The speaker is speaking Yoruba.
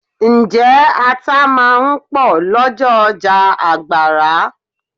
Ǹjẹ́ ata máa ń pò lọ́jọ́ ọjà Àgbàrá?